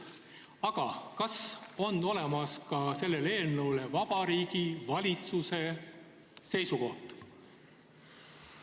Aga kas on olemas ka Vabariigi Valitsuse seisukoht selle eelnõu kohta?